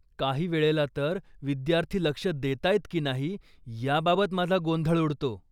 काही वेळेला तर विद्यार्थी लक्ष देतायत की नाही याबाबत माझा गोंधळ उडतो.